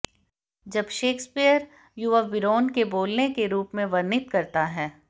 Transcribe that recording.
जब शेक्सपियर युवा बीरोन को बोलने के रूप में वर्णित करता है